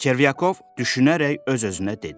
Çervyakov düşünərək öz-özünə dedi: